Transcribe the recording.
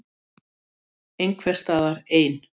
Ég lít svo á að Friðþjófur dæmi sjálfan sig allt of hart.